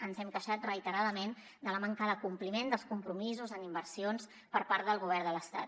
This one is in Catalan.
ens hem queixat reitera·dament de la manca de compliment dels compromisos en inversions per part del go·vern de l’estat